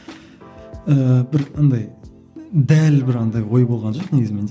ыыы бір андай дәл бір андай ой болған жоқ негізі менде